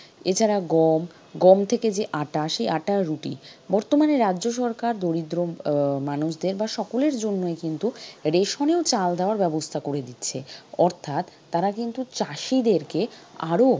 এছাড়া গম, গম থেকে যে আটা সেই আটার রুটি বর্তমানে রাজ্য সরকার দরিদ্র আহ মানুষদের বা সকলের জন্যই কিন্তু ration এও চাল দেওয়ার ব্যবস্থা করে দিচ্ছে অর্থাৎ তারা কিন্তু চাষীদেরকে আরো,